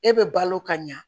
E bɛ balo ka ɲa